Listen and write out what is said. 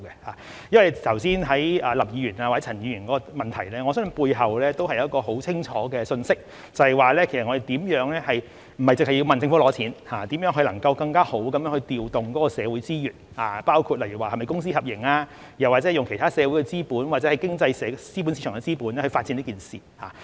對於剛才林議員或陳議員的補充質詢，我相信背後也有一個十分清楚的信息，也就是我們不單是要求政府撥款，而是如何能夠更好地調動社會資源，例如是否公私合營，又或者用其他社會資本或經濟市場的資本發展這項目。